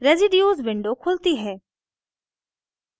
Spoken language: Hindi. रेसीड्यूज़ window खुलती है